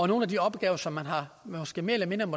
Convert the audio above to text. nogle af de opgaver som man måske mere eller mindre